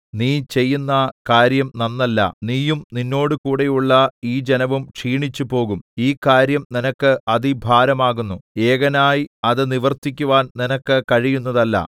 നീ ചെയ്യുന്ന കാര്യം നന്നല്ല നീയും നിന്നോടുകൂടെയുള്ള ഈ ജനവും ക്ഷീണിച്ചുപോകും ഈ കാര്യം നിനക്ക് അതിഭാരമാകുന്നു ഏകനായി അത് നിവർത്തിക്കുവാൻ നിനക്ക് കഴിയുന്നതല്ല